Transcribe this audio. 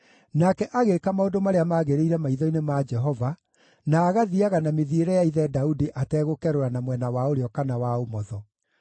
Nake agĩĩka maũndũ marĩa maagĩrĩire maitho-inĩ ma Jehova, na agathiiaga na mĩthiĩre ya ithe Daudi ategũkerũra na mwena wa ũrĩo kana wa ũmotho.